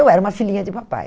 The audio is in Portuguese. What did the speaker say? Eu era uma filhinha de papai.